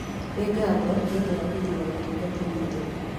Nĩ ngatho nĩ ũndũ wa gũthuura ũtungata witũ.